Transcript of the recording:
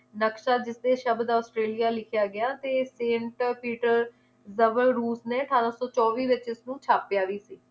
ਨਕਸ਼ਾ ਦਿੱਤੇ ਸ਼ਬਦ ਔਸਟ੍ਰੇਲਿਆ ਲਿਖਿਆ ਗਿਆ ਤੇ ਸੇਂਟ ਪੀਟਰ ਦਬਰ ਰੂਕ ਨੇ ਅਠਾਰਾਂ ਸੌ ਚੌਵੀ ਵਿਚ ਇਸਨੂੰ ਛਾਪਿਆ ਵੀ ਸੀ